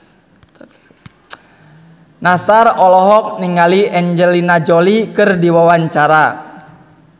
Nassar olohok ningali Angelina Jolie keur diwawancara